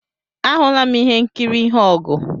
Ahụla m ihe nkiri ihe ogu